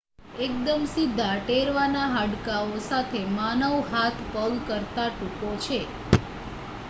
એકદમ સીધા ટેરવાના હાડકાઓ સાથે માનવ હાથ પગ કરતા ટૂંકો છે